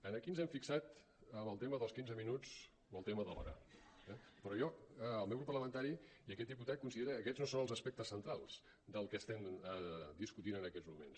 aquí ens hem fixat en el tema dels quinze minuts o el tema de l’hora eh però el meu grup parlamentari i aquest diputat consideren que aquests no són els aspectes centrals del que estem discutint en aquests moments